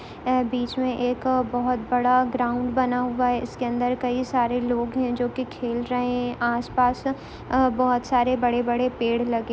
ऐ बिच में एक बहौत बड़ा ग्राउंड बना हुआ है इसके अंदर कई सारे लोग हैं जोकि खेल रहै हैं आस-पास बहौत सारे बड़े-बड़े पेड़ लगे --